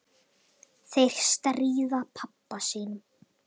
Þeir stríða pabba sínum.